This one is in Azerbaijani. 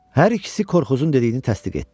Hər ikisi Korkuzun dediyini təsdiq etdi.